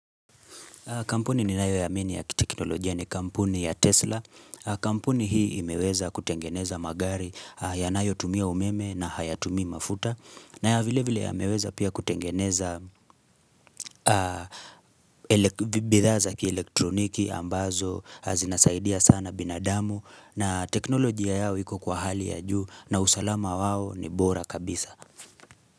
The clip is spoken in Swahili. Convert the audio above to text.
Kampuni ninayoiamini ya teknolojia ni kampuni ya Tesla. Kampuni hii imeweza kutengeneza magari yanayotumia umeme na hayatumii mafuta. Na vile vile yameweza pia kutengeneza bidhaa kielektroniki ambazo zinasaidia sana binadamu na teknolojia yao iko kwa hali ya juu na usalama wao ni bora kabisa.